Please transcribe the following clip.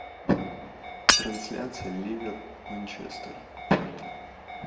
трансляция ливер манчестер